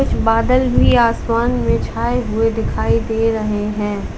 बादल भी आसमान में छाए हुए दिखाई दे रहे हैं।